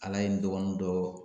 Ala ye n dɔgɔnin dɔɔ